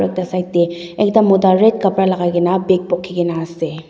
ekta side tae ekta mota red kapra lakai kaena bag bukhi kaena ase.